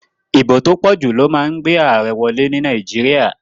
Ìbò tó pòjù ló ma n gbé àarẹ wolé ní Naíjiria